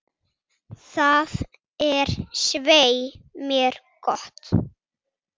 Það er svei mér gott.